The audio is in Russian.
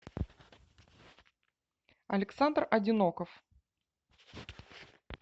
александр одиноков